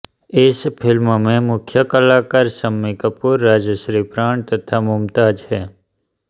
इस फ़िल्म के मुख्य कलाकार शम्मी कपूर राजश्री प्राण तथा मुमताज़ हैं